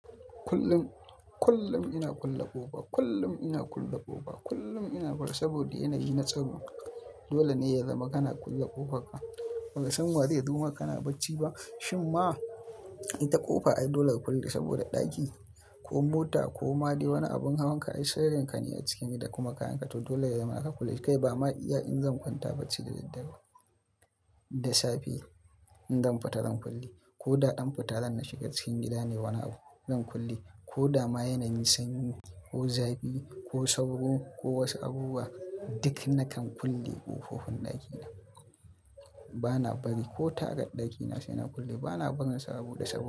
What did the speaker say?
Kullum ina kulle ƙofa, kullum ina kulle ƙofa kullum ina saboda yanayi na tsaro. Dole ne ya zama kana kulle ƙofarka, baka san wa zai zo ma kana bacci ba. Shin ma ita ƙofa ai dole ka kulle saboda ɗaki ko mota ko made wani abun hawan ka ai sirrin ka ne a cikin gida kuma kayan ka to dole ya zama aka kulle. Kai ba ma iya in zan kwanta bacci da daddare da safe in zan fita zan kulle, ko da ɗan fitar zan na shiga cikin gida ne wani abu zan kulle ko da ma yanayi sanyi ko zafi ko sauro ko wasu abubuwa duk na kan kulle ƙofofin ɗakina. Bana bari ko taka ɗakina sai na kulle, bana barin saboda sabo.